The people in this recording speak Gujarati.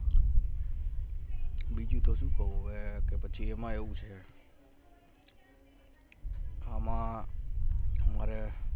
બીજુ તો સુ કહુ હવે કે પચી એમા એવુ છે હામાં હમારે